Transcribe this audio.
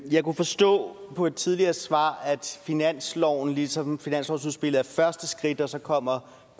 jeg kunne forstå på et tidligere svar at finansloven ligesom finanslovsudspillet er første skridt og så kommer